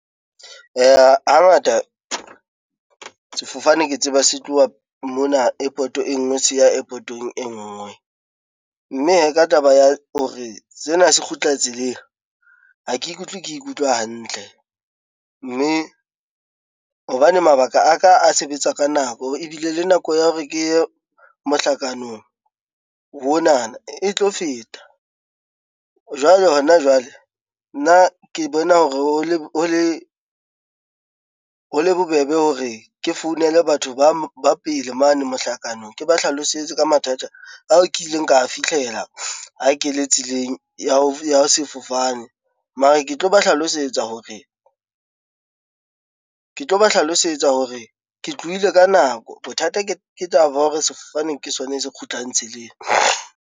Hangata sefofane ke tseba se tloha mona airport-o e ngwe se ya airport-ong e ngwe, mme hee ka taba ya hore sena se kgutla tseleng ha ke ikutlwe ke ikutlwa hantle, mme hobane mabaka aka a sebetsa ka nako ebile le nako ya hore ke ye mohlakanong ona e tlo feta. Jwale hona jwale nna ke bona hore ho le bobebe hore ke founele batho ba pele mane mohlakanong ke ba hlalosetse ka mathata ao ke ileng ka a fitlhela ha ke le tseleng ya sefofane, mara ke tlo ba hlalosetsa hore ke tlohile ka nako bothata ke ke taba ya hore sefane ke sona se kgutlang tseleng.